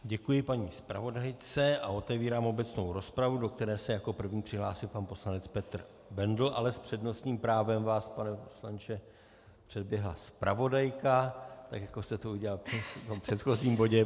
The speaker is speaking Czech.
Děkuji paní zpravodajce a otevírám obecnou rozpravu, do které se jako první přihlásil pan poslanec Petr Bendl, ale s přednostním právem vás, pane poslanče, předběhla zpravodajka, tak jako jste to udělal v předchozím bodě.